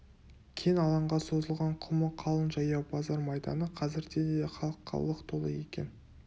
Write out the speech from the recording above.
кең алаңға созылған құмы қалың жаяу базар майданы қазірде де халыққа лық толы екен